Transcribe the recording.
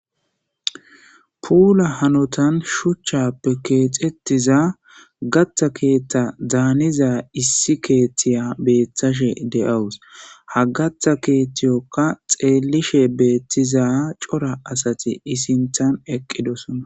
Puula hanotan shuchchan kexetiza gaththa keeththa daniza issi keeththtiya betashe de'awus. Ha gaththa keeththetiyoka xelishe betiza c'ora asati I'i sinthan eqidosona.